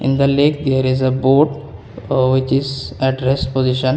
in the lake there is a boat ah which is at rest position.